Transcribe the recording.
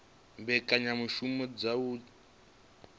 u mbekanyamushumo dza u thivhela